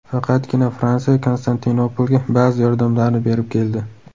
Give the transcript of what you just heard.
Faqatgina Fransiya Konstantinopolga ba’zi yordamlarni berib keldi.